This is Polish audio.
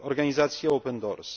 organizacji Open doors.